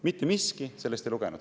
Mitte miski ei lugenud!